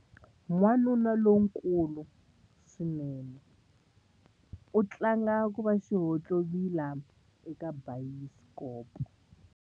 Wanuna lonkulu swinene u tlanga ku va xihontlovila eka bayisikopo.